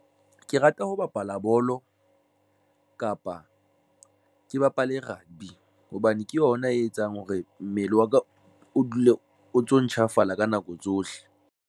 Ke rata ho bapala bolo kapa ke bapale rugby hobane ke yona e etsang hore mmele wa ka o dule o ntso ntjhafala ka nako tsohle.